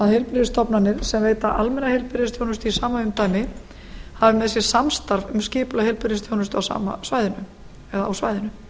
heilbrigðisstofnanir sem veita almenna heilbrigðisþjónustu í sama umdæmi hafi með sér samstarf um skipulag heilbrigðisþjónustu á svæðinu